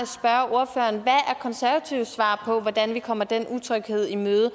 konservatives svar på hvordan vi kommer den utryghed i møde